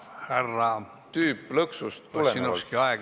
Härra Ossinovski, aeg on täis!